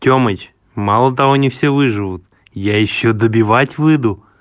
тёмыч мало того не все выживут я ещё добивать выйду